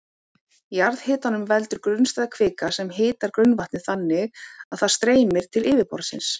Jarðhitanum veldur grunnstæð kvika sem hitar grunnvatnið þannig að það streymir til yfirborðsins.